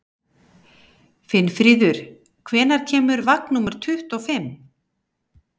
Finnfríður, hvenær kemur vagn númer tuttugu og fimm?